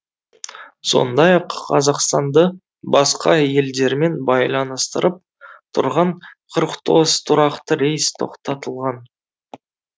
сондай ақ қазақстанды басқа елдермен байланыстырып тұрған қырық тоғыз тұрақты рейс тоқтатылған